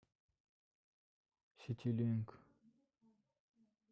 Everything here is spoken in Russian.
ситилинк